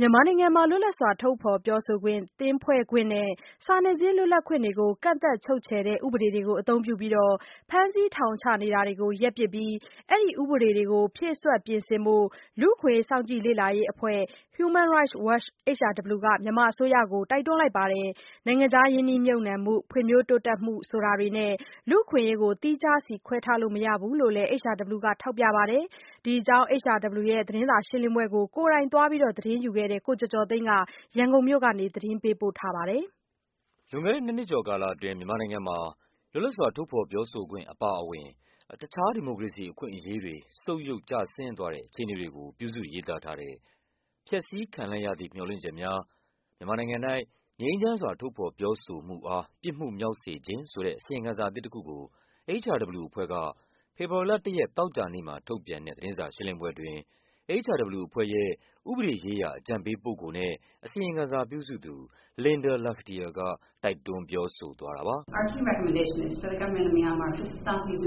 မြန်မာနိုင်ငံမှာ လွတ်လပ်စွာ ထုတ်ဖော်ပြောဆိုခွင့်၊ သင်းဖွဲ့ခွင့်နဲ့ စာနယ်ဇင်း လွတ်လပ်ခွင့် တွေကို ကန့်သတ် ချုပ်ခြယ်တဲ့ ဥပဒေတွေကိုအသုံးပြုပြီး ဖမ်းဆီးထောင်ချနေတာကို ရပ်ပစ်ပြီးတော့ အဲဒီဥပဒေတွေကို ဖြည့်စွက် ပြင်ဆင်ဖို့ လူ့အခွင့်အရေး စောင့်ကြည့် လေ့လာရေးအဖွဲ့ Human Rights Watch HRW က မြန်မာအစိုးရကို တိုက်တွန်းလိုက် ပါတယ်။ နိုင်ငံ ခြားရင်းနှီးမြှုပ်နှံမှု၊ ဖွံ့ဖြိုးတိုးတက်မှု ဆိုတာတွေနဲ့ လူ့အခွင့်အရေးကို သီးခြားစီခွဲထားလို့ မရဘူးလို့လည်း HRW က ထောက်ပြပါ တယ်။ ဒီအကြောင်း HRW ရဲ့သတင်းစာရှင်းလင်းပွဲကို ကိုယ်တိုင်သွားပြီး သတင်းယူခဲ့တဲ့ ကိုကျော်ကျော်သိန်းက ရန်ကုန်မြို့က နေ သတင်းပေးပို့ထားပါတယ်။ လွန်ခဲ့တဲ့ နှစ်နှစ်ကျော်ကာလအတွင်းမြန်မာနိုင်ငံမှာ လွတ်လပ်စွာ ထုတ်ဖော်ပြောဆိုခွင့် အပါအဝင် တခြား ဒီမိုကရေစီအခွင့် အရေးတွေ ဆုတ်ယုတ်ကျဆင်းသွားတဲ့ အခြေ အနေတွေကို ပြုစုရေးသားထားတဲ့ “ဖျက်ဆီးခံလိုက်ရသည့် မျှော်လင့်ချက်များ - မြန်မာနိုင်ငံ၌ ငြိမ်းချမ်းစွာ ထုတ်ဖော် ပြောဆိုမှုအား ပြစ်မှုမြောက်စေခြင်း” ဆိုတဲ့ အစီရင်ခံစာအသစ်တခုကို HRW အဖွဲ့က ဖေဖော်ဝါရီလ ၁ ရက် သောကြာနေ့မှာ ထုတ်ပြန်တဲ့ သတင်းစာရှင်းလင်းပွဲအတွင်း HRW အဖွဲ့ရဲ့ ဥပဒေရေးရာအကြံပေးပုဂ္ဂိုလ်နဲ့ အစီရင်ခံစာပြုစုသူ Linda Lakhdhir က တိုက်တွန်း ပြောဆိုသွားတာပါ။ “ကျမတို့ရဲ့ အဓိကအကြံပြုချက်ကတော့ ငြိမ်းချ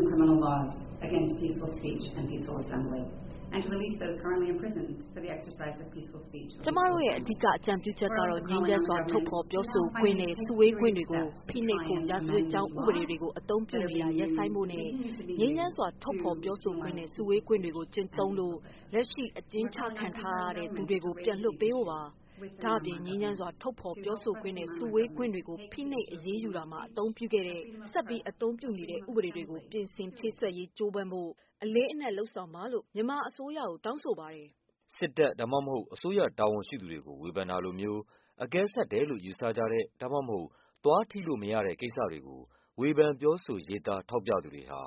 မ်းစွာ ထုတ်ဖော်ပြောဆိုခွင့်နဲ့ စုဝေးခွင့်တွေ ကို ဖိနှိပ်ဖို့ ရာဇဝတ်ကြောင်းဥပဒေ တွေကို အသုံးပြုနေတာ ရပ်ဆိုင်းဖို့နဲ့ ငြိမ်းချမ်းစွာ ထုတ်ဖော်ပြောဆိုခွင့်နဲ့ စုဝေးခွင့်တွေကို ကျင့်သုံးလို့ လက်ရှိ အကျဉ်းချခံထားရ သူတွေကို ပြန်လွှတ်ပေးဖို့ပါ။ ဒါ့အပြင် ငြိမ်းချမ်းစွာ ထုတ်ဖော်ပြောဆိုခွင့်နဲ့ စုဝေးခွင့်တွေကို ဖိနှိပ် အရေးယူတာမှာ အသုံးပြုခဲ့တဲ့၊ ဆက်ပြီးအသုံးပြုနေတဲ့ ဥပဒေတွေကို ပြင်ဆင်ဖြည့် စွက်ရေး ကြိုးစားဖို့ အလေးအနက် လုပ်ဆောင်ပါလို့ မြန်မာအစိုးရကို တောင်း ဆိုပါတယ်။” စစ်တပ် ဒါမှမဟုတ် အစိုးရတာဝန်ရှိသူတွေကို ဝေဖန်တာလိုမျိုး အကဲဆတ်တယ်လို့ ယူဆကြတဲ့ ဒါမှမဟုတ် သွားထိလို့မရတဲ့ ကိစ္စတွေကို ဝေဖန်ပြောဆိုရေးသား ထောက်ပြ သူတွေဟာ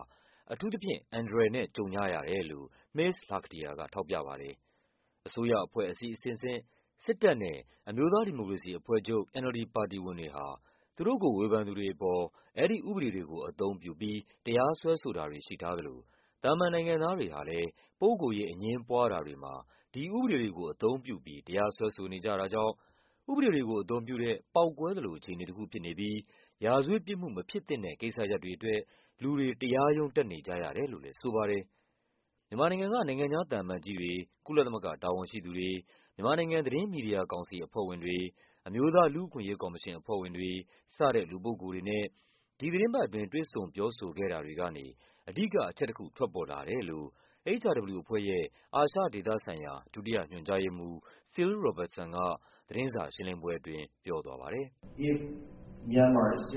အန္တရာယ်နဲ့ အထူးသဖြင့် ကြုံကြရတယ်လို့ မစ္စ Lakhdhir က ထောက်ပြပါတယ်။ အစိုးရအဖွဲ့အစည်းအဆင့်ဆင့်၊ စစ်တပ်နဲ့ အမျိုးသားဒီမိုကရေစီအဖွဲ့ချုပ် NLD ပါတီ ဝင် တွေ ဟာ သူတို့ကိုဝေဖန်သူတွေအပေါ် အဲဒီ ဥပဒေတွေကို အသုံးပြုပြီး တရားစွဲဆိုတာ တွေ ရှိထားသလို သာမန်နိုင်ငံသားတွေဟာလည်း ပုဂ္ဂိုလ်ရေးအငြင်းပွားတာတွေမှာ ဒီ ဥပဒေတွေကို အသုံးပြုပြီး တရားစွဲဆိုနေကြတာကြောင့် ဥပဒေတွေကိုအသုံးပြုတဲ့ ပေါက်ကွဲ သလိုအခြေအနေတခုဖြစ်နေပြီး ရာဇဝတ်ပြစ်မှုမဖြစ်သင့်တဲ့ ကိစ္စရပ်တွေ အတွက် လူတွေ တရားရုံးတက်နေကြရတယ်လို့လည်း ဆိုပါတယ်။ မြန်မာနိုင်ငံက နိုင်ငံခြားသံအမတ်ကြီးတွေ၊ ကုလသမဂ္ဂတာဝန်ရှိသူတွေ၊ မြန်မာနိုင်ငံ သတင်းမီဒီယာကောင်စီအဖွဲ့ဝင်တွေ၊ အမျိုးသားလူ့အခွင့်အရေးကော်မရှင်အဖွဲ့ဝင်တွေ စတဲ့ လူပုဂ္ဂိုလ်တွေနဲ့ ဒီသီတင်းပတ်အတွင်း တွေ့ဆုံပြောဆိုခဲ့တာတွေကနေ အဓိက အချက်တခု ထွက်ပေါ်လာတယ်လို့ HRW အဖွဲ့ရဲ့ အာရှဒေသဆိုင်ရာဌာန၊ ဒုတိယ ညွှန်ကြားရေးမှူး Phil Robertson က လည်း သတင်းစာရှင်းလင်းပွဲအတွင်း ပြောသွားပါ တယ်။ “မြန်မာအစိ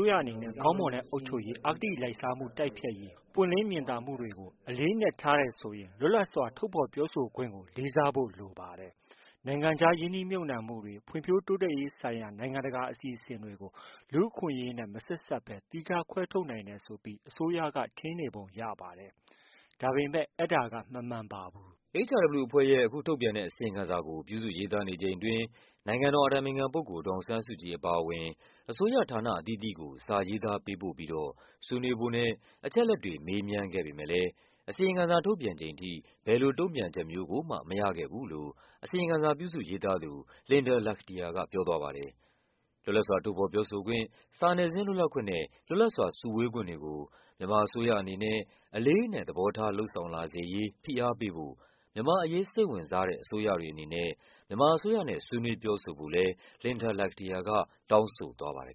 ုးရအနေနဲ့ ကောင်းမွန်တဲ့အုပ်ချုပ်ရေး၊ အဂတိလိုက်စားမှုတိုက်ဖျက်ရေး၊ ပွင့် လင်း မြင်သာမှုတွေကို အလေးအနက် ထားတယ်ဆိုရင် လွတ်လပ်စွာ ထုတ်ဖော် ပြော ဆိုခွင့်ကို လေးစားဖို့လိုပါတယ်။ နိုင်ငံခြားရင်းနှီးမြှုပ်နှံမှုတွေ၊ ဖွံ့ဖြိုးတိုးတက်ရေး ဆိုင်ရာ နိုင်ငံတကာအစီအစဉ်တွေကို လူ့အခွင့်အရေးနဲ့မဆက်စပ်ဘဲ သီးခြားခွဲထားနိုင်တယ် ဆိုပြီး အစိုးရက ထင်ပုံရပါတယ်။ ဒါပေမဲ့ အဲဒါက မမှန်ပါဘူး။” HRW အဖွဲ့ရဲ့ အခုထုတ်ပြန်တဲ့အစီရင်ခံစာကို ပြုစုရေးသားနေချိန်အတွင်း နိုင်ငံတော် အတိုင်ပင်ခံပုဂ္ဂိုလ် ဒေါ်အောင်ဆန်းစုကြည် အပါအဝင် အစိုးရဌာနအသီးသီးကို စာရေး သားပေးပို့ပြီးတော့ ဆွေးနွေးဖို့နဲ့ အချက်အလက်တွေ မေးမြန်းခဲ့ပေမယ့်လည်း အစီရင်ခံ စာ ထုတ်ပြန်ချိန်ထိ ဘယ်လိုတုန့်ပြန်ချက်မျိုးကိုမှ မရခဲ့ဘူးလို့ အစီရင်ခံစာပြုစုရေး သားသူ Linda Lakhdhir က ပြောသွားပါတယ်။ လွတ်လပ်စွာ ထုတ်ဖော်ပြောဆိုခွင့်၊ စာနယ်ဇင်းလွတ်လပ်ခွင့်နဲ့ လွတ်လပ်စွာစုဝေးခွင့်တွေ ကို မြန်မာအစိုးရအနေနဲ့ အလေးအနက် သဘောထား လုပ်ဆောင်လာစေရေး ဖိအား ပေးဖို့ မြန်မာ့အရေးစိတ်ဝင်စားတဲ့ အစိုးရတွေအနေနဲ့ မြန်မာအစိုးရနဲ့ ဆွေးနွေး ပြောဆို ဖို့လည်း Linda Lakhdhir က တောင်းဆိုသွားပါတယ်